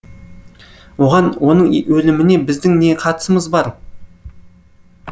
оған оның өліміне біздің не қатысымыз бар